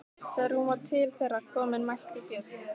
Þegar hún var til þeirra komin mælti Björn: